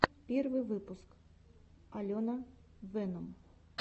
первый выпуск алена венум